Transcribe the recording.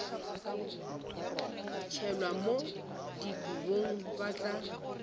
tšhelwa mo dikobong ba tla